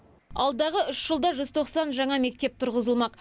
алдағы үш жылда жүз тоқсан жаңа мектеп тұрғызылмақ